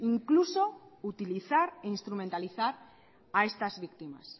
incluso utilizar e instrumentalizar a estas víctimas